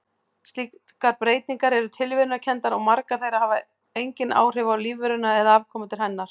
Slíkar breytingar eru tilviljunarkenndar og margar þeirra hafa engin áhrif á lífveruna eða afkomendur hennar.